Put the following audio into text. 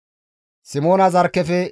Yuhuda zarkkefe 74,600,